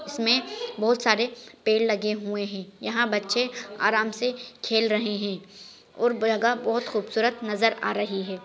इसमें बहुत सारे पेड़ लगे हुए हैं यहां बच्चे आराम से खेल रहे हैं और जगह बहुत खूबसूरत नज़र आ रही है।